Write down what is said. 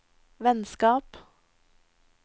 vennskap